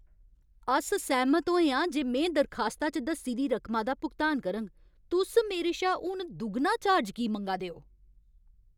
अस सैह्मत होए आं जे में दरखास्ता च दस्सी दी रकमा दा भुगतान करङ। तुस मेरे शा हून दुगना चार्ज की मंगा दे ओ?